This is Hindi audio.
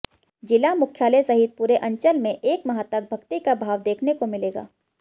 जिला मुख्यालय सहित पूरे अंचल में एक माह तक भक्ति का भाव देखने को मिलेगा